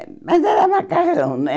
mas era macarrão, né?